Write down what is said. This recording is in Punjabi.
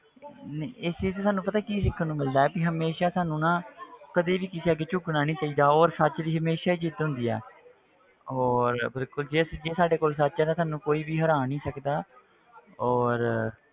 ਨਹੀਂ ਇਹ ਚੀਜ਼ 'ਚ ਸਾਨੂੰ ਪਤਾ ਕੀ ਸਿੱਖਣ ਨੂੰ ਮਿਲਦਾ ਹੈ ਕਿ ਹਮੇਸ਼ਾ ਸਾਨੂੰ ਨਾ ਕਦੇ ਵੀ ਕਿਸੇ ਅੱਗੇ ਝੁਕਣਾ ਨੀ ਚਾਹੀਦਾ ਔਰ ਸੱਚ ਦੀ ਹਮੇਸ਼ਾ ਜਿੱਤ ਹੁੰਦੀ ਆ ਔਰ ਬਿਲਕੁਲ ਜੇ ਸੱਚੀ ਜੇ ਸਾਡੇ ਕੋਲ ਸੱਚ ਹੈ ਤਾਂ ਸਾਨੂੰ ਕੋਈ ਵੀ ਹਰਾ ਨੀ ਸਕਦਾ ਔਰ